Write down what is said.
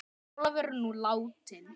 Ólafur er nú látinn.